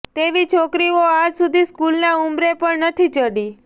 તેવી છોકરીઓ આજ સુધી સ્કુલના ઉંબરે પણ નથી ચડી